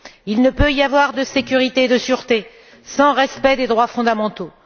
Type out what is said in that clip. Il ne peut y avoir de sécurité et de sureté sans respect des droits fondamentaux.